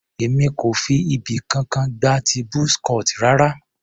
Èmi kò fi ibì kankan gba ti buzz cut rara.